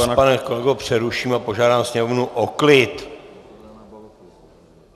Já vás, pane kolego, přeruším a požádám sněmovnu o klid!